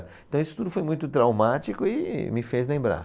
Então, isso tudo foi muito traumático e me fez lembrar.